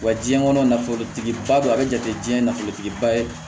Wa jiɲɛ kɔnɔ nafolotigiba dɔ a bɛ jate jiyɛn nafolotigiba ye